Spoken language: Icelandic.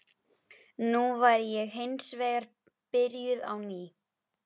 Nú væri ég hins vegar byrjuð á ný.